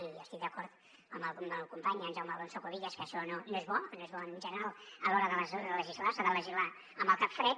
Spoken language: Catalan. i estic d’acord amb el company en jaume alonso cuevillas que això no és bo no és bo en general a l’hora de legislar s’ha de legislar amb el cap fred